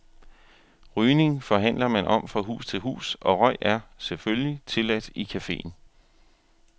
Rygning forhandler man om fra hus til hus, og røg er, selvfølgelig, tilladt i caféen.